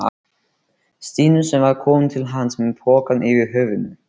Stínu sem var komin til hans með pokann yfir höfðinu.